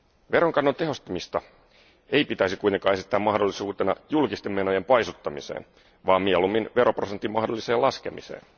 Veronkannon tehostamista ei pitäisi kuitenkaan esittää mahdollisuutena julkisten menojen paisuttamiseen vaan mieluummin veroprosentin mahdolliseen laskemiseen.